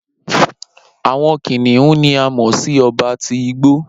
Awọn kiniun ni a mọ si ọba ti igbo.